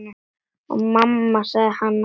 Og mamma sagði alltaf satt.